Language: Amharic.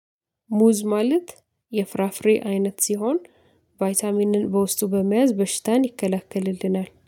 ሙዝ ማለት የፍራፍሬ አይነት ሲሆን ቫይታሚንን በውስጡ በመያዝ በሽታን ይከላከልልናል።